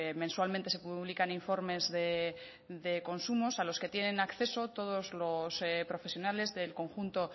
mensualmente se publican informes de consumos a los que tienen acceso todos los profesionales del conjunto